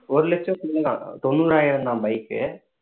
ஒரு லட்சம் உள்ள தான் தொண்ணூறாயிரம் தான் bike உ